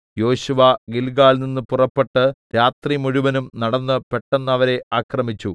യോശുവ ഗില്ഗാലിൽനിന്ന് പുറപ്പെട്ട് രാത്രിമുഴുവനും നടന്ന് പെട്ടെന്ന് അവരെ ആക്രമിച്ചു